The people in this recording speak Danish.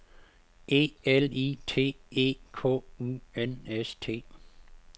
E L I T E K U N S T